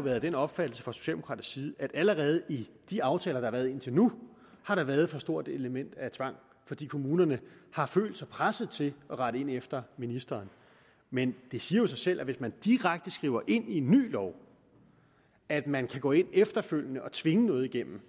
været af den opfattelse fra socialdemokratisk side at allerede i de aftaler der har været indtil nu har der været et for stort element af tvang fordi kommunerne har følt sig presset til at rette ind efter ministeren men det siger jo sig selv at hvis man direkte skriver ind i en ny lov at man kan gå ind efterfølgende og tvinge noget igennem